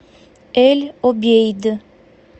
эль обейд